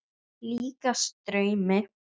Líkast draumi.